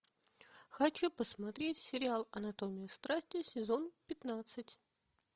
хочу посмотреть сериал анатомия страсти сезон пятнадцать